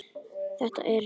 Þetta er rétt.